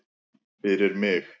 Fyrir mig?